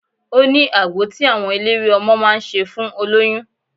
Ó ní agbo tí àwọn eléwé ọmọ máa ń ṣe fún olóyún.